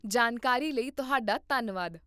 ਜਾਣਕਾਰੀ ਲਈ ਤੁਹਾਡਾ ਧੰਨਵਾਦ